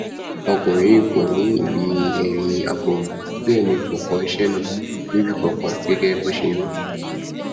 ọkùnrin yìí kò ní ìwé ẹrí apoògùn bẹẹ ni kò kọ iṣẹ náà níbì kankan gẹgẹ bó ṣe wí